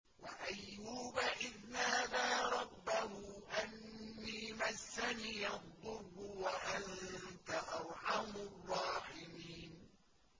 ۞ وَأَيُّوبَ إِذْ نَادَىٰ رَبَّهُ أَنِّي مَسَّنِيَ الضُّرُّ وَأَنتَ أَرْحَمُ الرَّاحِمِينَ